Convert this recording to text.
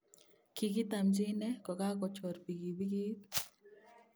kigitamchi ine kogachor bikibikiit